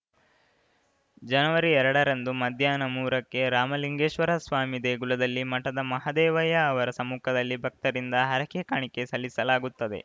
ಜನವವರಿ ಎರಡರಂದು ಮಧ್ಯಾಹ್ನ ಮೂರ ಕ್ಕೆ ರಾಮಲಿಂಗೇಶ್ವರಸ್ವಾಮಿ ದೇಗುಲದಲ್ಲಿ ಮಠದ ಮಹದೇವಯ್ಯ ಅವರ ಸಮ್ಮುಖದಲ್ಲಿ ಭಕ್ತರಿಂದ ಹರಕೆ ಕಾಣಿಕೆ ಸಲ್ಲಿಸಲಾಗುತ್ತದೆ